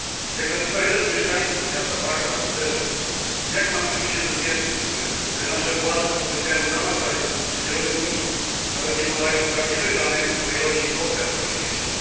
Jak napisał jeden z mieszkańców miasta Bago na Twitterze jak mam czuć się bezpiecznie, kiedy nasze władze potępiają zamach paryski, a nie robią nic, nawet nie podają prawdziwych danych o ilości ofiar w moim mieście.